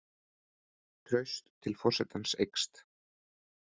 Traust til forsetans eykst